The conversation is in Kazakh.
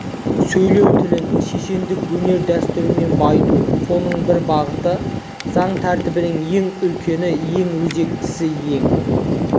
сөйлеу тілін шешендік өнер дәстүрімен байыту соның бір бағыты заң тәртіптің ең үлкені ең өзектісі ең